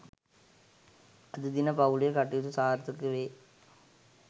අද දින පවු‍ලේ කටයුතු සාර්ථක වේ